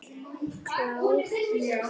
Klár núna.